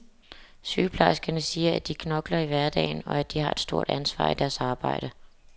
Sygeplejerskerne siger, at de knokler i hverdagen, og at de har et stort ansvar i deres arbejde.